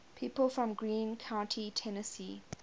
people from greene county tennessee